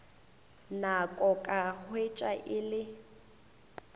nako ka hwetša e le